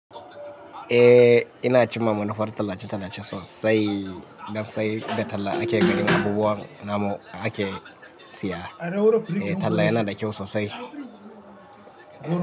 Eh ina cimma manufar tallace-tallace sosai don sai da talla ake ganin abubuwan namu ake siya. Talla yana da kyau sosai.